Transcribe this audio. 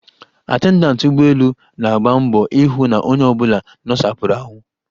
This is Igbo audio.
Atendantị ụgbọelu na-agba mbọ ihụ na onye ọbụla nosapụrụ ahụ.